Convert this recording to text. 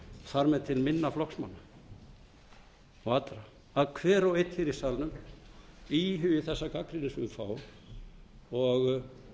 þar með til minna flokksmanna og allra að hver og einn hér í salnum íhugi þessa gagnrýni sem við fáum